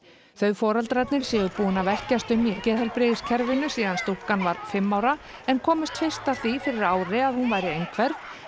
þau foreldrarnir séu búin að velkjast um í geðheilbrigðiskerfinu síðan stúlkan var fimm ára en komust fyrst að því fyrir ári að hún væri einhverf